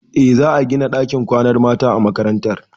Eh, za a gina ɗakin kwanan mata a makarantar.